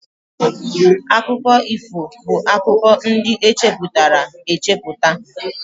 Akụkọ ifo bụ akụkọ ndị echepụtara echepụta